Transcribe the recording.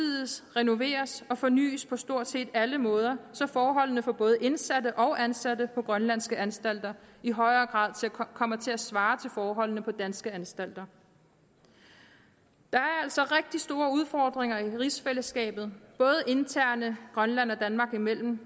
renoveres og fornys på stort set alle måder så forholdene for både indsatte og ansatte på grønlandske anstalter i højere grad kommer til at svare til forholdene på danske anstalter der er altså rigtig store udfordringer i rigsfællesskabet både internt grønland og danmark imellem